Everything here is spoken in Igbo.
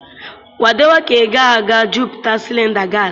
Kwadebe ka ị ga-aga jupụta cylinder gas.